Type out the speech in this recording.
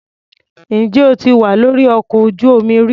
Ǹjẹ́ o ti wà lórí ọkọ̀ ojú-omi rí?